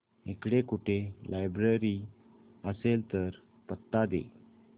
इकडे कुठे लायब्रेरी असेल तर पत्ता दे